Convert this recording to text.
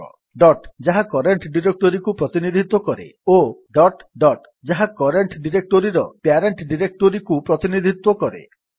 dot ଯାହା current ଡିରେକ୍ଟୋରୀକୁ ପ୍ରତିନିଧିତ୍ୱ କରେ ଓ ଡଟ୍ ଡଟ୍ ଯାହା କରେଣ୍ଟ୍ ଡିରେକ୍ଟୋରୀର ପ୍ୟାରେଣ୍ଟ୍ ଡିରେକ୍ଟୋରୀକୁ ପ୍ରତିନିଧିତ୍ୱ କରେ